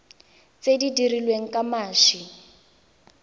tse di dirilweng ka mashi